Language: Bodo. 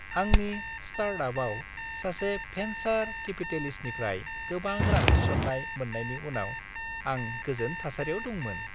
आंनि स्टार्टआपआव सासे भेन्सार केपिटेलिस्टनिफ्राय गोबां रां थिसन्नाय मोन्नायनि उनाव आं गोजोन थासारियाव दंमोन।